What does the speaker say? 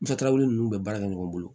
Ntaraw nu bɛ baara kɛ ɲɔgɔn bolo